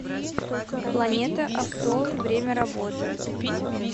планета авто время работы